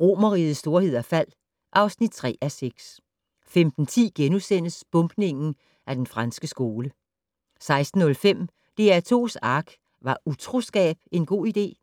Romerrigets storhed og fald (3:6) 15:10: Bombningen af Den Franske Skole * 16:05: DR2's ARK - Var utroskab en god idé? *